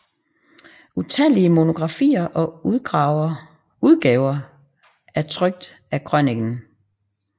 Utallige monografier og udgaver er trykt af krøniken